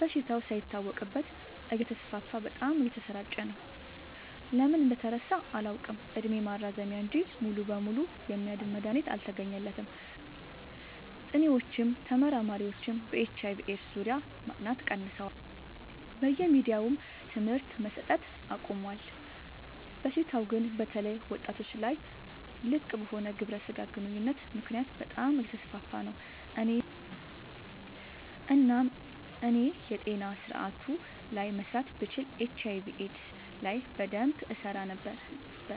በሽታው ሳይታወቅበት እተስፋፋ በጣም እየተሰራጨ ነው። ለምን እንደተረሳ አላውቅ እድሜ ማራዘሚያ እንጂ ሙሉ በሙሉ የሚያድን መድሀኒት አልተገኘለትም ጥኒዎችም ተመራማሪዎችም በኤች/አይ/ቪ ኤድስ ዙሪያ ማጥናት ቀንሰዋል በየሚዲያውም ትምህርት መሰት አቆሞል። በሽታው ግን በተለይ ወጣቶች ላይ ልቅበሆነ ግብረ ስጋ ግንኙነት ምክንያት በጣም አየተስፋፋ ነው። እናም እኔ የጤና ስረአቱ ላይ መስራት ብችል ኤች/አይ/ቪ ኤድስ ላይ በደንብ እሰራ ነበር።